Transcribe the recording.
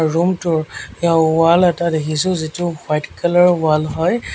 Room টো এয়া wall এটা দেখিছোঁ যিটো হোৱাইট কালাৰ ৰ ৱাল হয়।